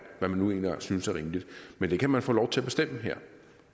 nu engang synes er rimeligt men det kan man få lov til at bestemme her